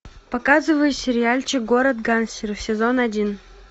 показывай сериальчик город гангстеров сезон один